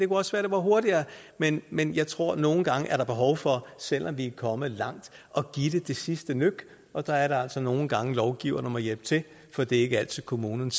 også være det går hurtigere men men jeg tror der nogle gange er behov for selv om vi er kommet langt at give det det sidste nøk og der er det altså nogle gange at lovgiverne må hjælpe til for det er ikke altid kommunerne